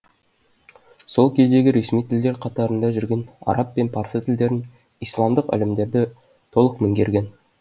сол кездегі ресми тілдер қатарында жүрген араб пен парсы тілдерін исламдық ілімдерді толық меңгерген